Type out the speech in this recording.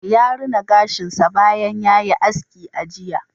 Ya rina gashin sa bayan ya yi aski a jiya